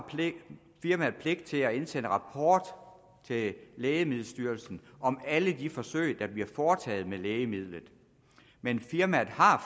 firmaet pligt til at indsende en rapport til lægemiddelstyrelsen om alle de forsøg der bliver foretaget med lægemidlet men firmaet har